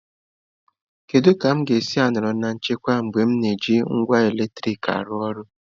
Kedu ka m ga-esi nọrọ na nchekwa mgbe m na-eji ngwa eletrik arụ ọrụ?